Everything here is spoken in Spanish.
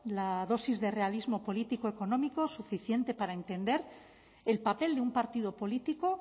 la dosis de realismo político económico suficiente para entender el papel de un partido político